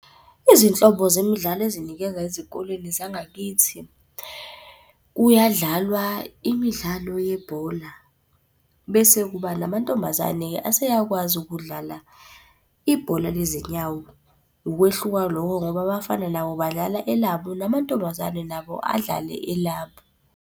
Izinhlobo zemidlalo ezinikeza ezikolweni zangakithi, kuyadlalwa imidlalo yebhola bese kuba namantombazane aseyakwazi ukudlala ibhola lezinyawo. Ukwehluka loko ngoba abafana nabo badlala elabo namantombazane nabo adlale elabo.